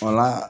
Wala